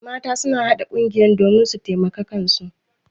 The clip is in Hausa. Mata suna haɗa ƙungiya domin su taimaki kansu.